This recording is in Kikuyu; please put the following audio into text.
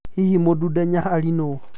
hihi Mdude Nyaghali nũ?